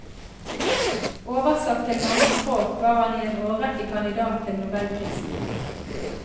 Oversatt til mange språk var han i en årrekke kandidat til nobelprisen.